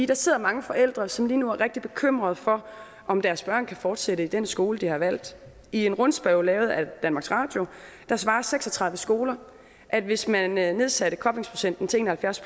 der sidder mange forældre som lige nu er rigtig bekymrede for om deres børn kan fortsætte i den skole de har valgt i en rundspørge lavet af danmarks radio svarer seks og tredive skoler at hvis man man nedsatte koblingsprocenten til en og halvfjerds